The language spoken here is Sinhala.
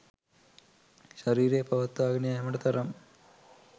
ශරීරය පවත්වාගෙන යෑමට තරම්